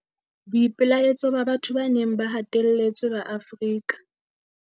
Boipelaetso ba batho ba neng ba hatelletswe ba Afrika.